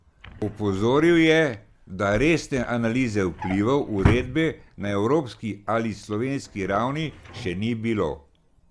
Opozoril je, da resne analize vplivov uredbe na evropski ali slovenski ravni še ni bilo.